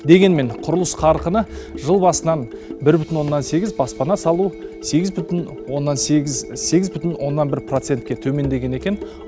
дегенмен құрылыс қарқыны жыл басынан бір бүтін оннан сегіз баспана салу сегіз бүтін оннан сегіз сегіз бүтін оннан бір процентке төмендеген екен